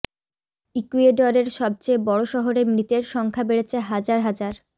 ইকুয়েডরের সবচেয়ে বড় শহরে মৃতের সংখ্যা বেড়েছে হাজার হাজার